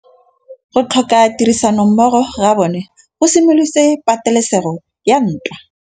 Go tlhoka tirsanommogo ga bone go simolotse patêlêsêgô ya ntwa.